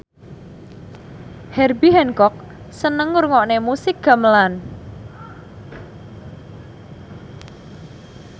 Herbie Hancock seneng ngrungokne musik gamelan